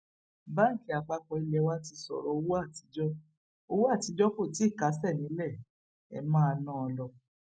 báńkì àpapọ ilé wa ti sọrọ owó àtijọ owó àtijọ kó tì í kásẹ nílé ẹ máa ná an lọ